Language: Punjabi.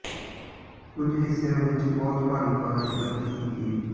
ਕੁਝ ਹਿੱਸਿਆਂ ਵਿੱਚ ਬਹੁਤ ਭਾਰੀ ਬਾਰਸ਼ ਦਰਜ ਕੀਤੀ ਗਈ